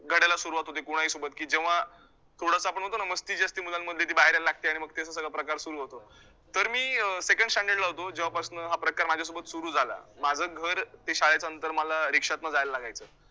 लढायला सुरूवात होते कोणाही सोबत, की जेव्हा थोडंसं आपण म्हणतो ना, मस्ती जी असते मुलांमध्ये ती बाहेर यायला लागते, आणि मग ते अस सगळा प्रकार सुरू होतो, तर मी अं second standard ला होतो, जेव्हा पासनं हा प्रकार माझ्या सोबत सुरू झाला. माझं घर ते शाळेचं अंतर मला रिक्षातनं जायला लागायचं.